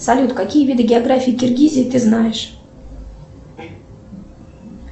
салют какие виды географии киргизии ты знаешь